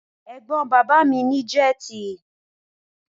Ẹ̀gbọ́n bàbá mi ní jẹ́tì.